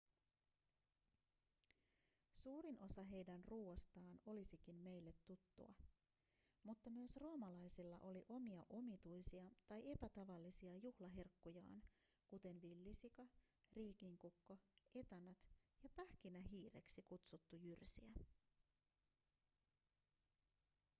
suurin osa heidän ruoastaan olisikin meille tuttua mutta myös roomalaisilla oli omia omituisia tai epätavallisia juhlaherkkujaan kuten villisika riikinkukko etanat ja pähkinähiireksi kutsuttu jyrsijä